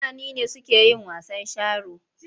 Fulani ne suke yin wasan sharo.